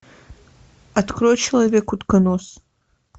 открой человек утконос